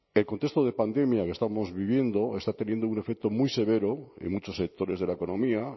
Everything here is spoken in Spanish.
el contexto de pandemia que estamos viviendo está teniendo un efecto muy severo en muchos sectores de la economía